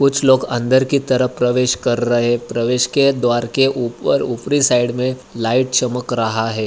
कुछ लोग अंदर की तरफ प्रवेश का रहे है। प्रवेश के द्वार के ऊपर-ऊपरी साइड मे लाइट चमक रहा है।